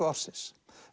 ársins